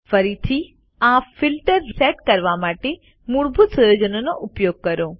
ફરીથી આ filter set કરવા માટે મૂળભૂત સુયોજનોનો ઉપયોગ કરો